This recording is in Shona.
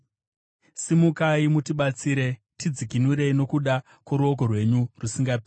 Simukai mutibatsire; tidzikinurei nokuda kworudo rwenyu rusingaperi.